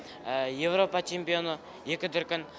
еуропа чемпионы екі дүркін